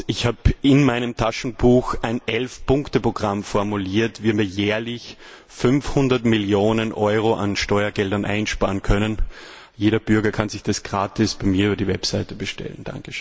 Ich habe in meinem Taschenbuch ein Elf Punkte Programm formuliert, wie man jährlich 500 Millionen Euro an Steuergeldern einsparen kann. Jeder Bürger kann sich das gratis bei mir über die Website bestellen.